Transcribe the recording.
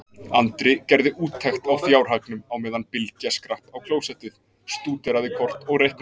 Andri gerði úttekt á fjárhagnum á meðan Bylgja skrapp á klósettið, stúderaði kort og reiknaði.